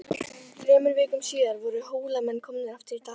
Þremur vikum síðar voru Hólamenn komnir aftur í Dali.